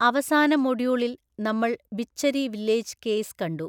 അവസാന മൊഡ്യൂളില് നമ്മള് ബിച്ഛരി വില്ലേജ് കേസ് കണ്ടു.